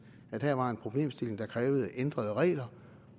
at her var en problemstilling der krævede ændrede regler